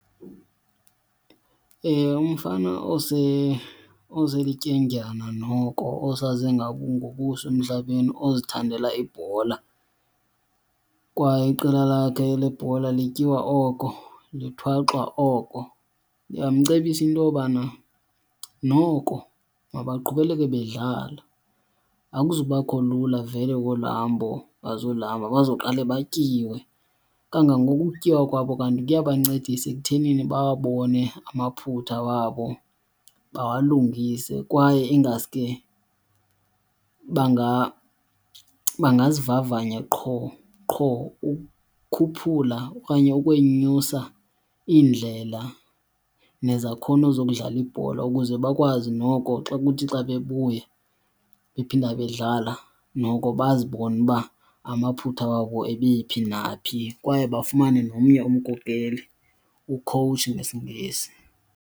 Umfana oselityendyana noko osaze ngobuso emhlabeni ozithandela ibhola kwaye iqela lakhe lebhola lityiwa oko, lithwaxwa oko, ndingamcebisa into yobana noko mabaqhubeleke bedlala. Akuzubakho lula vele kolu hambo bazoluhamba, bazawuqala batyiwe kangangoko. Ukutyiwa kwabo kanti kuya bancedisa ekutheni babone amaphutha wabo bawalungise. Kwaye ingaske bangazivavanya qho qho ukukhuphula okanye ukwenyusa iindlela nezakhono zokudlala ibhola ukuze bakwazi noko xa kuthi xa bebuya bephinda bedlala noko bazibone uba amaphutha wabo ebephi naphi kwaye bafumane nomnye umkhokeli, u-choach nesiNgesi.